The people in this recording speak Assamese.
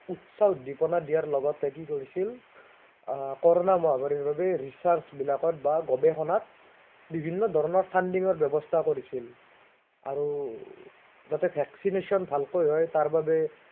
উচ্ছাস উদ্দেপনা দিয়াৰ লগতে কি কৰিছিল আহ কৰোণা মহামাৰীৰ বাবে recherch বিলাকত বা গৱেষণাত, বিভিন্ন ধৰণৰ funding ৰ ব্য়ৱস্থা কৰিছিল। আৰু, যাতে vaccination ভালেকৈ হয়, তাৰবাবে